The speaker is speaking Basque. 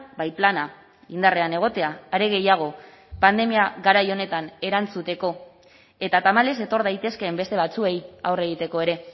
bai plana indarrean egotea are gehiago pandemia garai honetan erantzuteko eta tamalez etor daitezkeen beste batzuei aurre egiteko ere